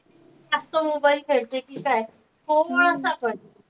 जास्त mobile खेळते कि काय आपण.